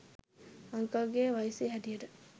uncle ගේ වයසේ හැටියට